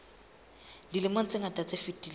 dilemong tse ngata tse fetileng